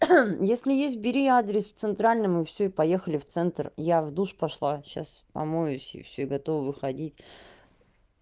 если есть бери адрес в центральном и всё и поехали в центр я в душ пошла сейчас помоюсь и всё готова выходить